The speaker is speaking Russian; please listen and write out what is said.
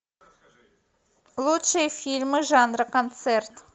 лучшие фильмы жанра концерт